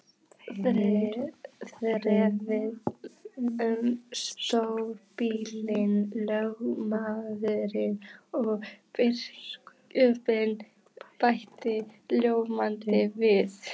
Þeir þrefa um stórbýlin, lögmaðurinn og biskup, bætti bóndinn við.